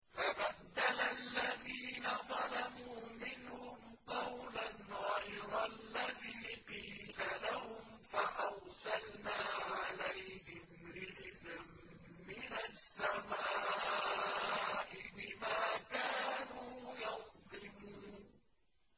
فَبَدَّلَ الَّذِينَ ظَلَمُوا مِنْهُمْ قَوْلًا غَيْرَ الَّذِي قِيلَ لَهُمْ فَأَرْسَلْنَا عَلَيْهِمْ رِجْزًا مِّنَ السَّمَاءِ بِمَا كَانُوا يَظْلِمُونَ